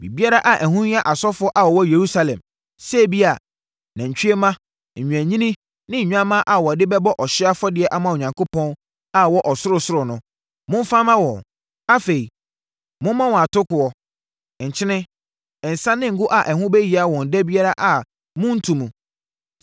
Biribiara a ɛho hia asɔfoɔ a wɔwɔ Yerusalem, sɛ ebia, nantwie mma, nnwennini ne nnwammaa a wɔde bɛbɔ ɔhyeɛ afɔdeɛ ama Onyankopɔn a ɔwɔ ɔsorosoro no, momfa mma wɔn. Afei, momma wɔn atokoɔ, nkyene, nsã ne ngo a ɛho bɛhia wɔn da biara a monnto mu.